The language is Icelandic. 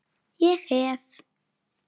Ég hef.